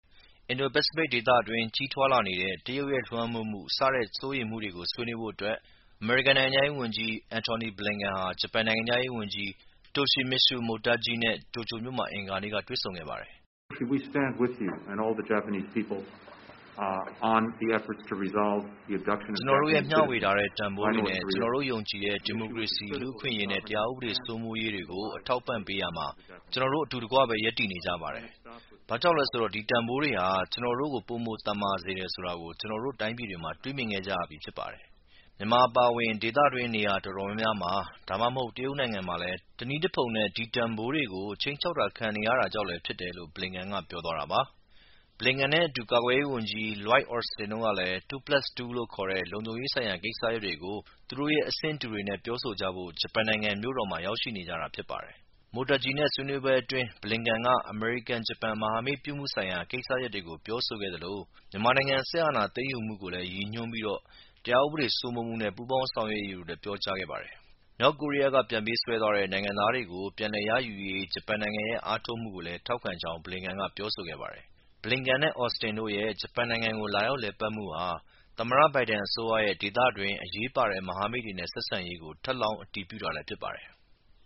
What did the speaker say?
အင်ဒို-ပစိဖိတ်ဒေသတွင်း ကြီးထွားလာနေတဲ့ တရုတ်လွှမ်းမိုးမှု စတဲ့ စိုးရိမ်မှုတွေကို ဆွေးနွေးဖို့အမေရိကန်နိုင်ငံခြားရေးဝန်ကြီး Antony Blinken ဟာ ဂျပန်နိုင်ငံခြားရေးဝန်ကြီး Toshimitsu Motegi နဲ့ တိုကျိူမြို့မှာ အင်္ဂါနေ့က တွေ့ဆုံခဲ့ပါတယ်။ “ ကျနော်တို့ရဲ့ ဝေမျှထားတဲ့ တန်ဖိုးတွေနဲ့ ကျနော်တို့ယုံကြည်တဲ့ ဒီမိုကရေစီ၊ လူ့အခွင့်အရေးနဲ့တရားဥပဒေစိုးမိုးရေးတွေကို အထောက်အပံ့ပေးရာမှာ ကျနော်တို့အတူတကွပဲ ရပ်တည် နေကြပါတယ်။ ဘာ့ကြောင့်လဲဆိုတော့ ဒီတန်ဖိုးတွေဟာ ကျနော်တို့ကို ပိုမိုသန်မာစေတယ်ဆိုတာ ကျနော်တို့တိုင်းပြည်တွေမှာ မြင်တွေ့ခဲ့ကြရပြီးဖြစ်တယ်။ မြန်မာအပါအဝင် ဒေသတွင်းက နေရာတော်တော်များများမှာ ဒါမှမဟုတ် တရုတ်နိုင်ငံမှာလည်း တနည်းတဖုံနဲ့ဒီတန်ဖိုးတွေကို ခြိမ်းခြောက်ခံနေရတာကြောင့်လည်းဖြစ်တယ်။” Blinken နဲ့အတူ ကာကွယ်ရေးဝန်ကြီး Lloyd Austin တို့လည်း “two plus two" လို့ခေါ်တဲ့ လုံခြုံရေးဆိုင်ရာကိစ္စရပ်တွေကို သူတို့ရဲ့ အဆင့်တူတွေနဲ့ပြောဆိုကြဖို့ ဂျပန်နိုင်ငံရဲ့ မြို့တော်မှာ ရောက်ရှိနေကြတာဖြစ်ပါတယ်။ Motegi နဲ့ဆွေးနွေးပွဲအတွင်း Blinken က အမေရိကန်-ဂျပန် မဟာမိတ်ပြုမှုဆိုင်ရာ ကိစ္စရပ်တွေကို ပြောဆိုခဲ့သလို မြန်မာနိုင်ငံစစ်အာဏာသိမ်းယူမှုကိုရည်ညွှန်းပြီး တရားဥပဒေစိုးမိုးမှု နဲ့ပူးပေါင်း ဆောင်ရွက်ရေးတွေကိုလည်း ပြောကြားခဲ့ပါတယ်။ မြောက်ကိုရီးယားက ပြန်ပေးဆွဲသွားတဲ့ နိုင်ငံသားတွေကို ပြန်လည်ရယူရေး ဂျပန်နိုင်ငံရဲ့ အားထုတ်မှုကိုလည်း ထောက်ခံကြောင်းလည်း Blinken က ပြောဆိုခဲ့ပါတယ်။ Blinken နဲ့Austin တို့ရဲ့ ဂျပန်နိုင်ငံကို လာရောက်လည်ပတ်မှုဟာ သမ္မတ ဘိုင်ဒန်အစိုးရရဲ့ ဒေသတွင်း အရေးပါတဲ့ မဟာမိတ်တွေနဲ့ဆက်ဆံရေးကို ထပ်လောင်းအတည်ပြုတာလည်းဖြစ်ပါတယ်။